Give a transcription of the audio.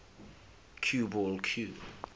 cue ball cue